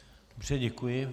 Dobře, děkuji.